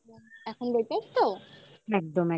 এখন better তো?